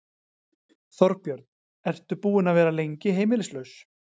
Þorbjörn: Ertu búinn að vera lengi heimilislaus?